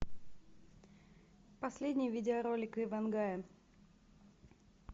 последний видеоролик иван гая